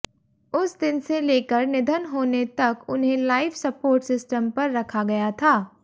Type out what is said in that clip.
उस दिन से लेकर निधन होने तक उन्हें लाइफ सपोर्ट सिस्टम पर रखा गया था